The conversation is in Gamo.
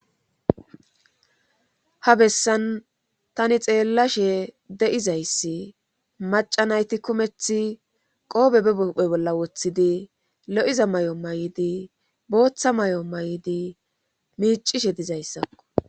ha bessan tani xeellashe de'izayssi macanayti kumeth qoobe bephe bolla woththidi lo'iza mayo mayidi booththa mayo maydi miicishe dizayssakko